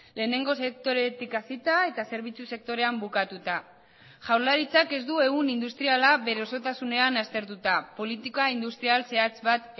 lehenengo sektoretik hasita eta zerbitzu sektorean bukatuta jaurlaritzak ez du ehun industriala bere osotasunean aztertuta politika industrial zehatz bat